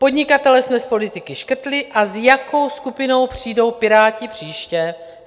Podnikatele jsme z politiky škrtli a s jakou skupinou přijdou Piráti příště?